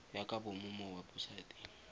ya ka bomo mo webosaeteng